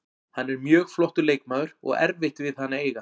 Hann er mjög flottur leikmaður og erfitt við hann að eiga.